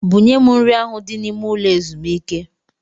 Bunye m nri ahụ dị n'ime ụlọ ezumike!